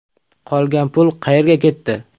Qolgan pul qayerga ketdi?